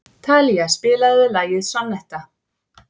Talía, spilaðu lagið „Sonnetta“.